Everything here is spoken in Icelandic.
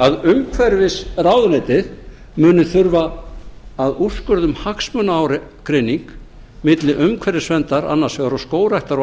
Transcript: að umhverfisráðuneytið muni þurfa að úrskurða um hagsmunaágreining milli umhverfisverndar annars vegar og skógræktar og